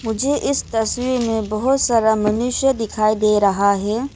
मुझे इस तस्वीर में बहोत सारा मनुष्य दिखाई दे रहा है।